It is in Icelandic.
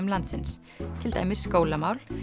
landsins til dæmis skólamál